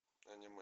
аниме